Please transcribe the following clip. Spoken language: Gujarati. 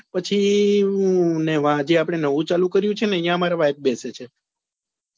પછી મેં જ્યાં નવું ચાલુ કર્યું ત્યાં મારી wife બેસે છે